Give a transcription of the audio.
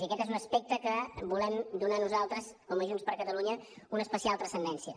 i aquest és un aspecte a què volem donar nosaltres com a junts per catalunya una especial transcendència